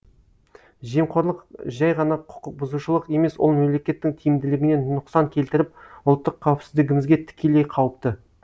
жемқорлық жәй ғана құқық бұзушылық емес ол мемлекеттің тиімділігіне нұқсан келтіріп ұлттық қауіпсіздігімізге тікелей қауіпті